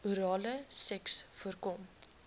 orale seks voorkom